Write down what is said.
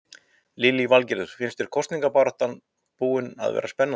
Lillý Valgerður: Finnst þér kosningabaráttan búin að vera spennandi?